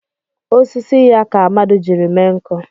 Osisi ya ka Amadi jiri mee nkụ.